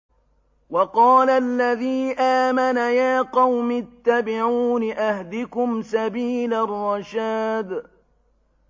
وَقَالَ الَّذِي آمَنَ يَا قَوْمِ اتَّبِعُونِ أَهْدِكُمْ سَبِيلَ الرَّشَادِ